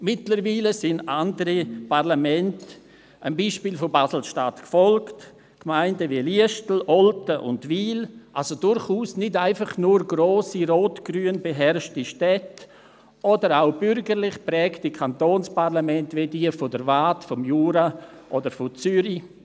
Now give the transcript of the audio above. Mittlerweile sind auch andere Parlamente dem Beispiel von Basel-Stadt gefolgt, Gemeinden wie Liestal, Olten und Wil, also durchaus nicht etwa grosse rotgrün beherrschte Städte, sondern auch bürgerlich geprägte Kantonsparlamente wie jenes der Waadt, des Jura oder von Zürich.